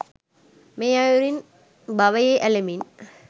මේ අයුරින් භවයේ ඇලෙමින්